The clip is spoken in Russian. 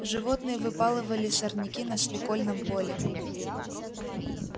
животные выпалывали сорняки на свекольном поле